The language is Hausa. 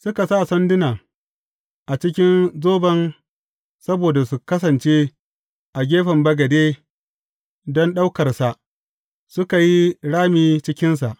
Suka sa sandunan a cikin zoban saboda su kasance a gefen bagade don ɗaukarsa, suka yi rami cikinsa.